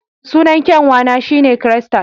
Sunan kyanwa na shi ne Crystal